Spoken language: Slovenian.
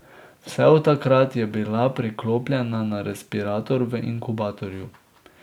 Vse od takrat je bila priklopljena na respirator v inkubatorju.